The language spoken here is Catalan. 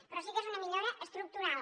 però sí que és una millora estructural